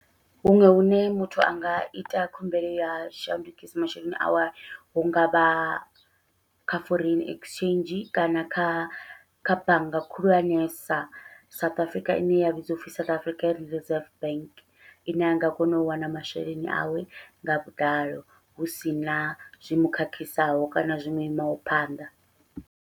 Huṅwe hune muthu anga ita khumbelo ya shandukisa masheleni awe hungavha kha foreign exchange, kana kha kha bannga khulwanesa South Africa ine ya vhidziwa upfhi South Africa Reserve Bank, ine a nga kona u wana masheleni awe nga vhuḓalo husina zwi mukhakhisaho kana zwi muimaho phanḓa.